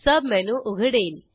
submenu उघडेल